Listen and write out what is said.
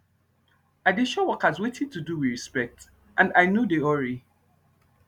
i dey show workers wetin to do with respect and i nor dey hurry